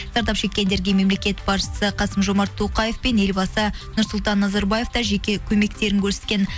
зардап шеккендерге мемлекет басшысы қасым жомарт тоқаев пен елбасы нұрсұлтан назарбаев та жеке көмектерін көрсеткен